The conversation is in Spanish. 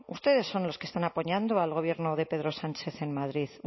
ustedes son los que están apoyando al gobierno de pedro sánchez en madrid